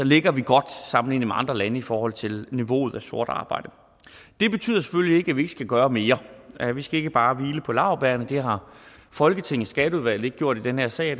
ligger vi godt sammenlignet med andre lande i forhold til niveauet af sort arbejde det betyder selvfølgelig ikke at vi ikke skal gøre mere vi skal ikke bare hvile på laurbærrene det har folketingets skatteudvalg ikke gjort i den her sag